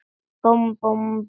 Búmm, búmm, búmm.